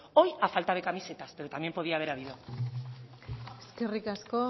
hoy a falta de camisetas pero también podía haber habido eskerrik asko